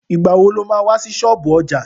Ìgbà wo lo má wá sí ṣọ́ọ̀bú ọjà?